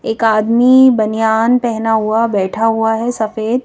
एक आदमी बनियान पहना हुआ बैठा हुआ है सफेद।